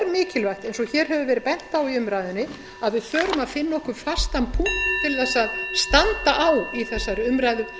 mikilvægt eins og hér hefur verið bent á í umræðunni að við förum að finna okkur fastan punkt